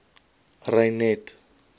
reinet